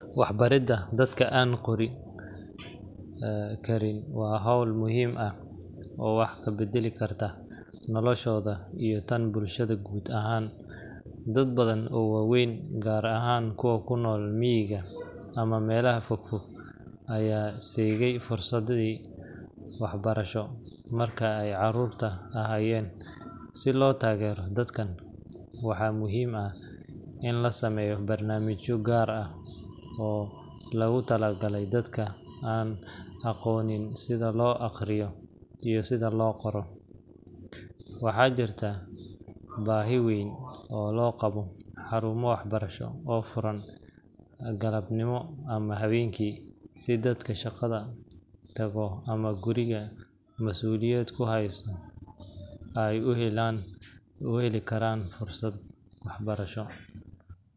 Waxbaridda dadka aan qorin karin waa hawl muhiim ah oo wax ka beddeli karta noloshooda iyo tan bulshada guud ahaan. Dad badan oo waaweyn, gaar ahaan kuwa ku nool miyiga ama meelaha fog fog, ayaa seegay fursaddii waxbarasho marka ay carruurta ahaayeen. Si loo taageero dadkan, waxaa muhiim ah in la sameeyo barnaamijyo gaar ah oo loogu talagalay dadka aan aqoonin sida loo akhriyo iyo sida loo qoro. Waxaa jirta baahi weyn oo loo qabo xarumo waxbarasho oo furan galabnimo ama habeenkii, si dadka shaqada tago ama guriga mas’uuliyad ku haysta ay u heli karaan fursad waxbarasho.